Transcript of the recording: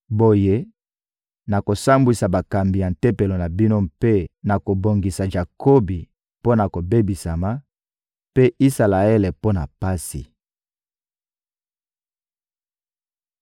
Boye, nakosambwisa bakambi ya tempelo na bino mpe nakobongisa Jakobi mpo na kobebisama, mpe Isalaele, mpo na pasi.